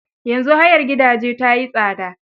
Yanzu hayar gidaje ta yi tsada.